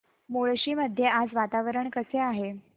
मुळशी मध्ये आज वातावरण कसे आहे